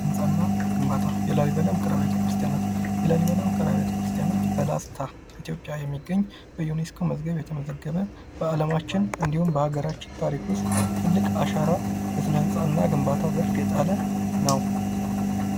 ስነ_ህንጻና ግንባታ የላሊበላ ዉቅር አቢያተ ክርስቲያናት በላስታ ኢትዮጵያ የሚገኝ በዩነስኮ መዝገብ የተመዘገበ በዓለማችን እንዲሁም በሀገራችን ታሪክ ውስጥ ትልቅ አሻና ስነ_ህንጻና ግንባታ ዘርፍ የጣለ ነው።